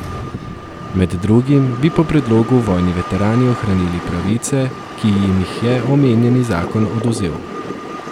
Med drugim bi po predlogu vojni veterani ohranili pravice, ki jim jih je omenjeni zakon odvzel.